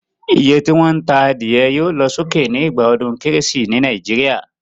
Iye tí wón ta adìyẹ yio lo sókè ni ìgbà odún kérésì ni Naijiria